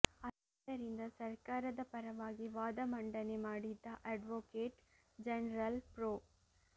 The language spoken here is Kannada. ಆದ್ದರಿಂದ ಸರ್ಕಾರದ ಪರವಾಗಿ ವಾದ ಮಂಡನೆ ಮಾಡಿದ್ದ ಅಡ್ವೊಕೇಟ್ ಜನರಲ್ ಪ್ರೊ